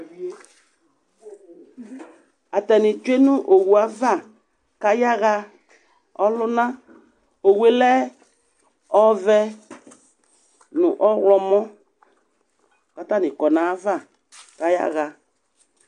Atanɩ tsue nʋ owu ava kʋ ayaɣa ɔlʋna Owu yɛ lɛ ɔvɛ nʋ ɔɣlɔmɔ kʋ atanɩ kɔ nʋ ayava kʋ ayaɣa